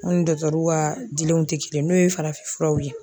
U ni ka dilenw ti kelen ye n'o ye farafinfuraw ye.